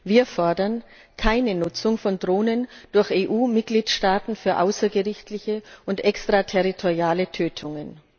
Wir fordern keine Nutzung von Drohnen durch EU Mitgliedstaaten für außergerichtliche und extraterritoriale Tötungen